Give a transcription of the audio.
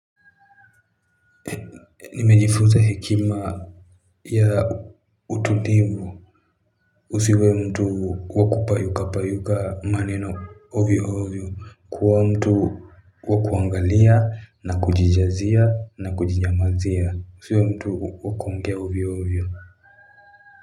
Nimejifuta hekima pia ututivu usiwe mtu wakupayuka payuka maneno ovio ovio kuwa mtu wakuangalia na kujijazia na kujinyamazia usiwe mtu wakuongea ovio ovio.